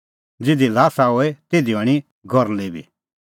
ज़िधी ल्हासा होए तिधी हणीं गरली बी